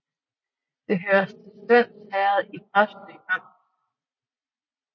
Det hørte til Stevns Herred i Præstø Amt